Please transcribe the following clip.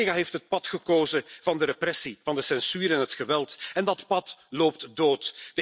Ortega heeft het pad gekozen van de repressie, van de censuur en het geweld. Dat pad loopt dood.